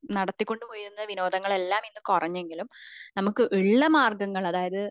നടത്തികൊണ്ട് പോയ വിനോദങ്ങൾ എല്ലാം ഇന്ന് കുറഞ്ഞെങ്കിലും നമുക് ഉള്ള മാർഗം